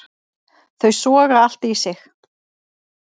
Þau soga allt í sig.